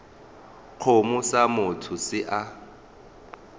kgomo sa motho se a